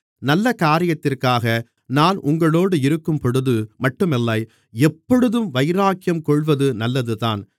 நல்லக் காரியத்திற்காக நான் உங்களோடு இருக்கும்பொழுது மட்டுமில்லை எப்பொழுதும் வைராக்கியம் கொள்வது நல்லதுதான்